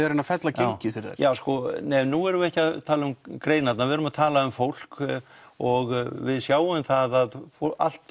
að reyna að fella gengið fyrir þær nei nú erum við ekki að tala um greinarnar við erum að tala um fólk og við sjáum það að allt